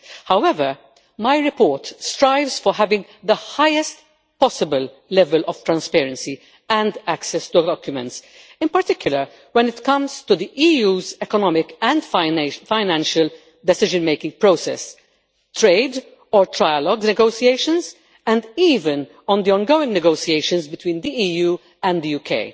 However, my report strives to have the highest possible level of transparency and access to documents, in particular when it comes to the EU's economic and financial decision making process, trade or trilogue negotiations, and even on the ongoing negotiations between the EU and the UK.